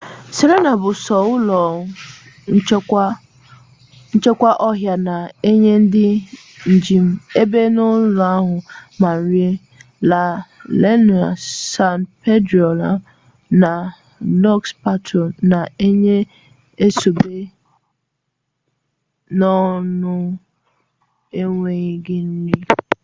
sirena bụ sọ ụlọ nchekwa ọhịa na-enye ndị njem ebe ọnụnọ ma nri la leona san pedrilo na lọs patos na-enye sọ ebe ọnụnọ n'enweghị nri